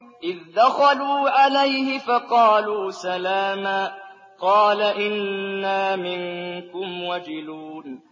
إِذْ دَخَلُوا عَلَيْهِ فَقَالُوا سَلَامًا قَالَ إِنَّا مِنكُمْ وَجِلُونَ